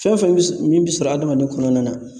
Fɛn fɛn bi s min bɛ sɔrɔ adamaden kɔnɔna na